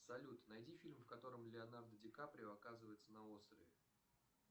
салют найди фильм в котором леонардо ди каприо оказывается на острове